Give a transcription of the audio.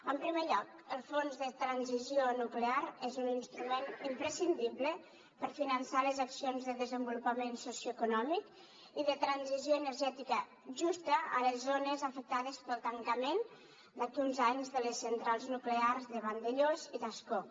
en primer lloc el fons de transició nuclear és un instrument imprescindible per finançar les accions de desenvolupament socioeconòmic i de transició energètica justa a les zones afectades pel tancament d’aquí a uns anys de les centrals nuclears de vandellòs i d’ascó